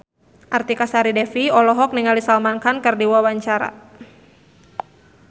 Artika Sari Devi olohok ningali Salman Khan keur diwawancara